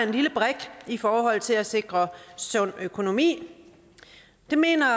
en lille brik i forhold til at sikre sund økonomi det mener